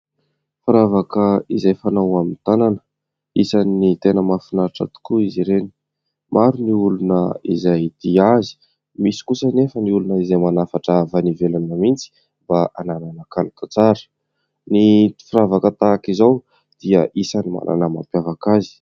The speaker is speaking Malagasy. Firavaka izay fanao amin'ny tanana isan'ny tena mahafinaritra tokoa izy ireny, maro ny olona izay tia azy ; misy kosa anefa ny olona izay manafatra avy any ivelany mihitsy mba hananana kalitao tsara. Ny firavaka tahaka izao dia isan'ny manana ny mampiavaka azy.